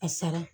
A sara